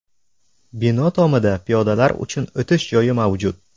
Bino tomida piyodalar uchun o‘tish joyi mavjud.